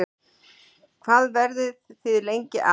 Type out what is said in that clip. Hvað verðið þið lengi að?